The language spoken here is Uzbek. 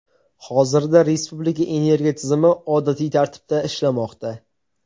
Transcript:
Hozirda respublika energiya tizimi odatiy tartibda ishlamoqda.